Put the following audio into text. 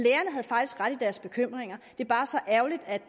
deres bekymringer det er bare så ærgerligt at